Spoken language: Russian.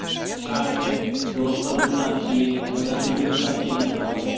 в чате в голосовых сообщениях она даже видео сообщение отправляет